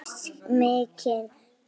Við höfum misst mikinn tíma.